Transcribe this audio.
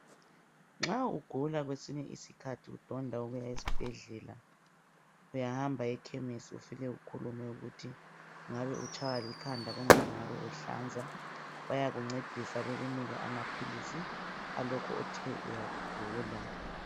Nxa ugula kwesinye isikhathi udonda ukuya esibhedlela, uyahamba ekhemesi ufike ukhulume ukuthi ungabe utshaywa likhanda kumbe ungabe uhlanza. Bayakuncedisa bekunike amaphilisi a lokhu othe uyakugula.